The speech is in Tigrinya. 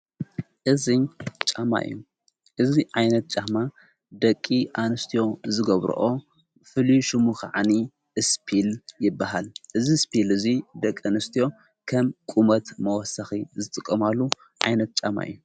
እዙይ ዓይነት ጫሕማ ደቂ ኣንስትዮ ዝጐብርኦ ፍልሹሙ ኸዓኒ ስጲል ይበሃል እዝ ስጲል እዙይ ደቂ እንስትዮ ከም ቁመት መወሰኺ ዝትቖማሉ ዓይነት ጫማ እዩ።